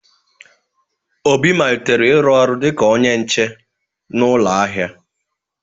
Obi malitere ịrụ ọrụ dị ka onye nche na ụlọ ahịa.